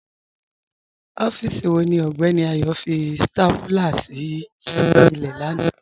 Ọfíìsí wọ̀ ní Ọgbẹni Ayo fí stápúlà sí ilẹ̀ làna?